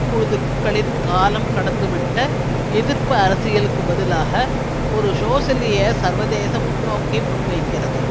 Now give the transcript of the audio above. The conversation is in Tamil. குழுக்களின் காலம் கடந்துவிட்ட எதிர்ப்பு அரசியலுக்கு பதிலாக ஒரு சோசியலிய சர்வதேச முன்னோக்கை முன்வைக்கிறது